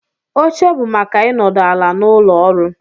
Oche bụ maka ịnọdụ ala n'ụlọ ọrụ